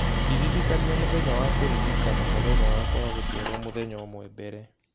Ndĩririkania mũthenya wa kũririkana mũthenya wakwa wa gũciarũo mũthenya ũmwe mbere